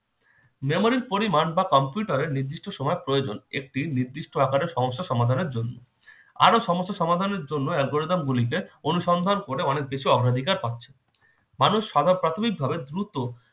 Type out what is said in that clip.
memory এর পরিমাণ বা computer এর নির্দিষ্ট সময়ের প্রয়োজন একটি নির্দিষ্ট আকারের সমস্যা সমাধানের জন্য। আরো সমস্যা সমাধানের জন্য algorithm গুলিকে অনুসন্ধান করে অনেক বেশি অগ্রাধিকার পাচ্ছে। মানুষ ছাড়া প্রাথমিকভাবে দ্রুত